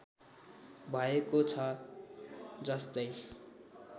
भएको छ जस्तै